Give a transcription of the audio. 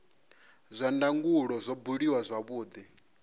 zwa ndangulo zwo buliwa zwavhudi